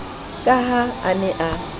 ka ha a ne a